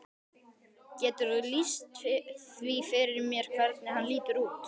Geturðu lýst því fyrir mér hvernig hann lítur út?